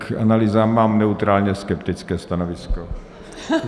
K analýzám mám neutrálně-skeptické stanovisko.